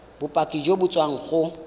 bopaki jo bo tswang go